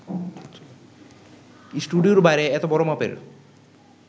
স্টুডিওর বাইরে এত বড় মাপের